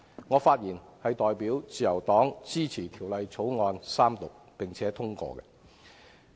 我發言代表自由黨支持《條例草案》三讀，並且通過。